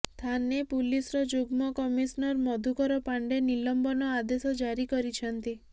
ଥାନେ ପୁଲିସ୍ର ଯୁଗ୍ମ କମିସନର୍ ମଧୁକର ପାଣ୍ଡେ ନିଲମ୍ବନ ଆଦେଶ ଜାରି କରିଛନ୍ତି